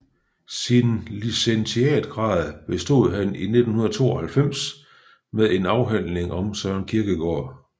Sin licentiatgrad bestod han i 1992 med en afhandling om Søren Kierkegaard